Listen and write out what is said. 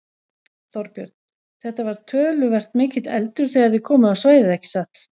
Þorbjörn: Þetta var töluvert mikill eldur þegar þið komuð á svæðið ekki satt?